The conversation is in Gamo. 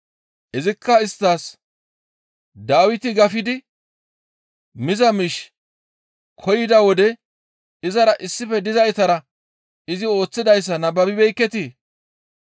Izikka isttas, «Dawiti gafidi miza miish koyida wode izara issife dizaytara izi ooththidayssa nababibeekketii?